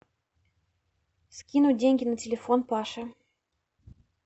скинуть деньги на телефон паше